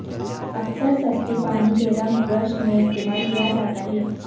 اکثر سستی پانی کے رنگ برش میں استعمال کیا جاتا ہے